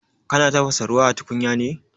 Kana tafasa ruwa a tukunya ne?